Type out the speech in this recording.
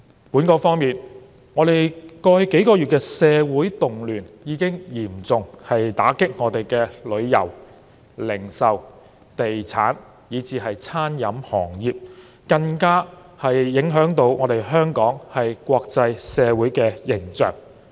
本港方面，過去數個月的社會動亂已經嚴重打擊旅遊、零售、地產以至餐飲行業，更影響了香港的國際形象。